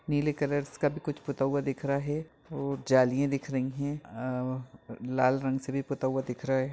नीले कलर्स का कभी कुछ पोता हुआ दिख रहा है और जालियाँ दिख रही हैं लाल रंग से भी पोता हुआ दिख रहा है।